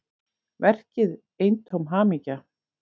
Verkið eintóm hamingja